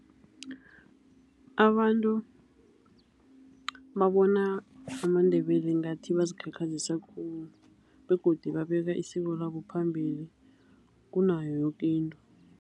Abantu babona amaNdebele ngathi bazikhakhazisa khulu begodu babeka isiko labo phambili kunayo yoke into.